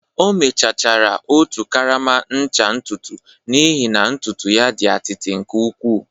O mechachara otu karama ncha ntutu n'ihi na ntutu ya dị atịtị nke ukwuu